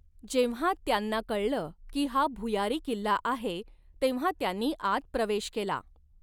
जेव्हा त्यांना कळलं की हा भुयारी किल्ला आहे, तेव्हा त्यांनी आत प्रवेश केला.